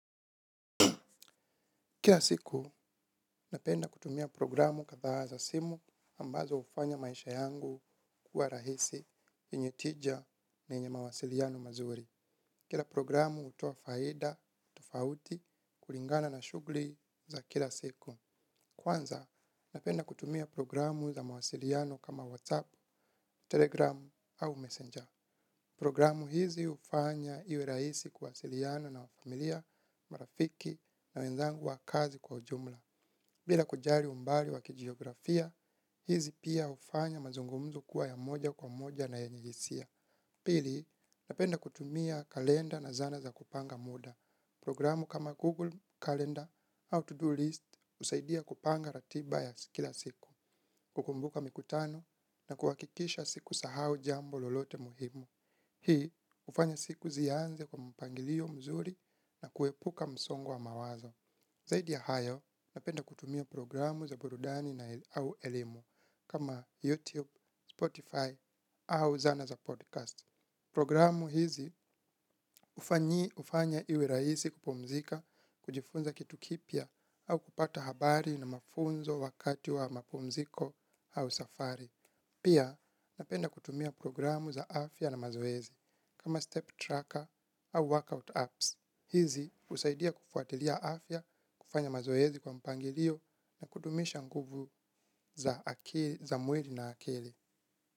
Kila siku napenda kutumia programu kadhaa za simu ambazo hufanya maisha yangu kuwa rahisi yenye tija na yenye mawasiliano mazuri. Kila programu hutuoa faida tofauti kulingana na shughuli za kila siku. Kwanza napenda kutumia programu za mawasiliano kama WhatsApp Telegram au Messenger. Programu hizi hufanya iwe rahisi kuwasiliana na familia marafiki na wenzangu wa kazi kwa ujumla. Bila kujali umbali wa kijiografia hizi pia hufanya mazungumzo kuwa ya moja kwa moja na yenye hisia. Pili napenda kutumia kalenda na zana za kupanga muda. Programu kama Google Calendar how to do list husaidia kupanga ratiba ya kila siku. Kukumbuka mikutano na kuhakikisha sikusahau jambo lolote muhimu. Hii hufanya siku zianze kwa mpangilio mzuri na kuepuka msongo wa mawazo. Zaidi ya hayo napenda kutumia programu za burudani au elimu kama YouTube Spotify au zana za podcast. Programu hizi hufanyi hufanya iwe rahisi kupumzika kujifunza kitu kipya au kupata habari na mafunzo wakati wa mapumziko au safari. Pia napenda kutumia programu za afya na mazoezi kama Step Tracker au Workout Apps hizi husaidia kufuatilia afya kufanya mazoezi kwa mpangilio na kudumisha nguvu za mwili na akili.